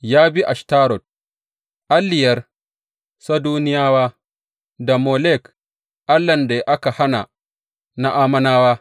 Ya bi Ashtarot, alliyar Sidoniyawa, da Molek, allahn da aka hana na Ammonawa.